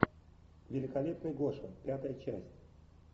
великолепный гоша пятая часть